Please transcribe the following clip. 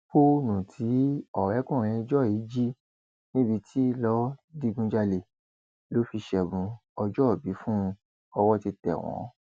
fóònù tí ọrẹkùnrin joy jí níbi tí lọọ digunjalè ló fi ṣẹbùn ọjọòbí fún un ọwọ́ ti tẹ̀ wọ́n